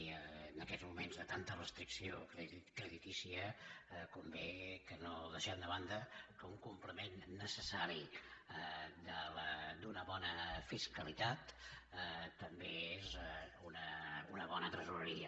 i en aquests moments de tanta restricció creditícia convé que no deixem de banda que un complement necessari d’una bona fiscalitat també és una bona tresoreria